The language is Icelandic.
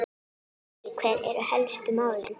Helgi, hver eru helstu málin?